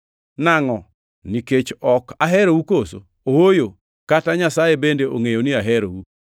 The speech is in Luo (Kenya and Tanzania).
Nangʼo? Nikech ok aherou koso? Ooyo, kata Nyasaye bende ongʼeyo ni aherou.